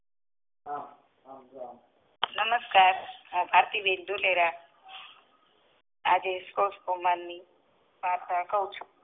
નમસ્કાર ભરતી બેન ધુલેરા આજે